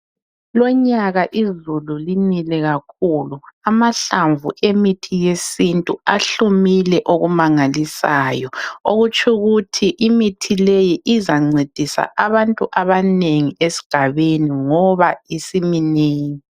Lonyaka izulu linile kakhulu amahlamvu emithi yesintu ahlumile okumangalisayo okutshukuthi imithi leyi izancedisa abantu abanengi esigabeni ngoba iminengi.